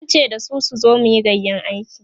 zan ce dasu su zo muyi gayƴan aiki